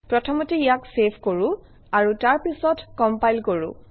প্ৰথমতে ইয়াক চেভ কৰোঁ আৰু তাৰপিছত কমপাইল কৰোঁ